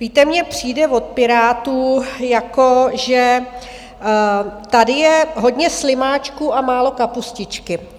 Víte, mně přijde od Pirátů, jako že tady je hodně slimáčků a málo kapustičky.